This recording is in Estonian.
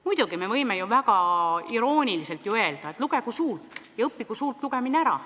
Muidugi me võime ju irooniliselt öelda, et lugegu suult – õppigu suult lugemine ära!